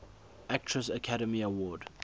actress academy award